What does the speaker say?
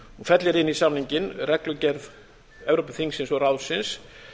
fellir inn í samninginn reglugerð evrópuþingsins og ráðsins